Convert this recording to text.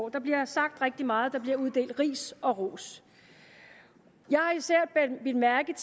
der bliver sagt rigtig meget der bliver uddelt ris og ros jeg har især bidt mærke